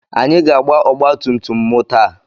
Anyị ga-agba ọgbatumtum m taa.